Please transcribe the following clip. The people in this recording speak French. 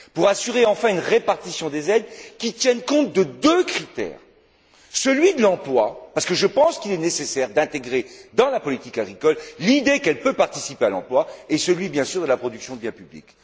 Pour assurer enfin une répartition des aides qui tienne compte de deux critères celui de l'emploi, parce que je pense qu'il est nécessaire d'intégrer dans la politique agricole l'idée qu'elle peut participer à l'emploi et celui, bien sûr, de la production de biens publics.